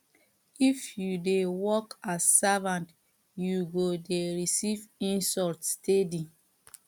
if you dey work as servant you go dey receive insult steady